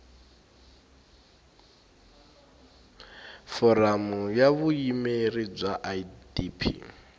foramu ya vuyimeri bya idp